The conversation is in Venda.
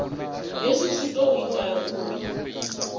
hezwi zwi ḓo ita uri